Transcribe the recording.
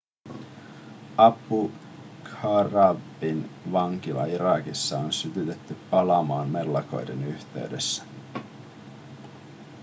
abu ghraibin vankila irakissa on sytytetty palamaan mellakan yhteydessä